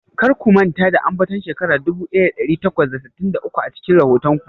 Kar ku manta da ambaton shekara dubu daya dari takwas da sittin da uku a cikin rahoton ku.